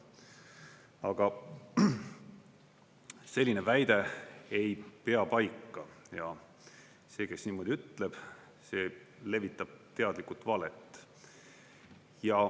Aga selline väide ei pea paika ja see, kes niimoodi ütleb, see levitab teadlikult valet.